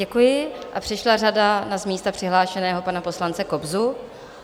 Děkuji A přišla řada na z místa přihlášeného pana poslance Kobzu.